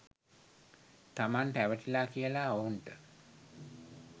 තමන් රැවටිලා කියලා ඔවුන්ට